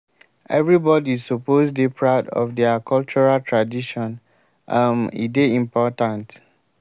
everybodi suppose dey proud of their cultural tadition um e dey important.